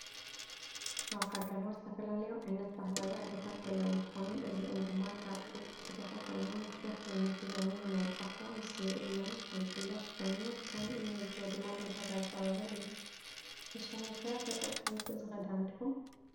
አብ ሃገርና ዝተፈላለዩ ዓይነት ባህላዊ አልባሳት ዘለው እንትኮኑ እዚኦም ድማ ካብ ጡጥ ዝስራሑ ኮይኑ ብዝሕ ዓይነተ ዲዛይን እናውፃእካ ዝእለምን ዝጥለፍን ኮይኑ ከም እንዕዞቦ ድማ ንዕዳጋ ዝቀረበ እዩ። ንስኩም ከ ተጠቀመቲ እዚ ክዳን ዲኩም?